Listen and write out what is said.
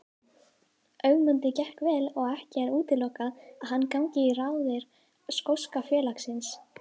Ögmundi gekk vel og ekki er útilokað að hann gangi í raðir skoska félagsins.